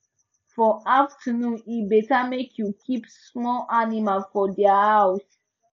for afternoon e better make you keep small animals for dia house